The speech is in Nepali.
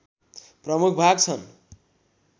प्रमुख भाग छन्